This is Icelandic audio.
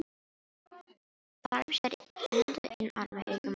Þarm sér enda inn armi augum brostnum drauga.